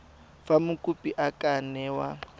fa mokopi a ka newa